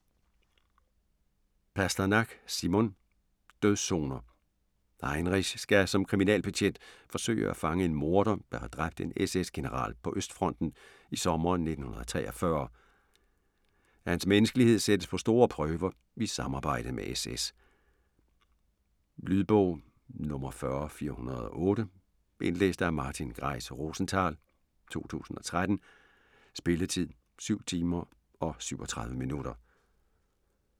Pasternak, Simon: Dødszoner Heinrich skal som kriminalbetjent forsøge at fange en morder, der har dræbt en SS-general på Østfronten i sommeren 1943. Hans menneskelighed sættes på store prøver i samarbejdet med SS. Lydbog 40408 Indlæst af Martin Greis-Rosenthal , 2013. Spilletid: 7 timer, 37 minutter.